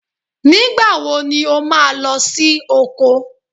Nígbà wo ni o máa lọ sí oko?